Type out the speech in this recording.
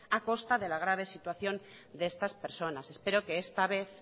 a costa de la grave situación de estas personas espero que esta vez